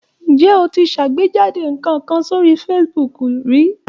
Ǹjẹ́ o ti ṣàgbéjáde nǹkan kan sórí Facebook rí?